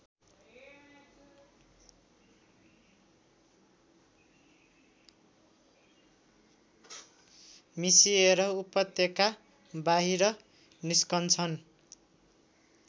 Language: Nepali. मिसिएर उपत्यकाबाहिर निस्कन्छन्